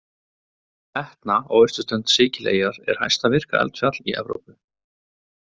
Etna á austurströnd Sikileyjar er hæsta virka eldfjall í Evrópu.